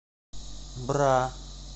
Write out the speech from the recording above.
бра